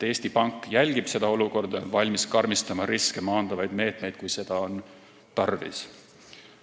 Eesti Pank jälgib seda olukorda ja on valmis karmistama riske maandavaid meetmeid, kui seda on tarvis.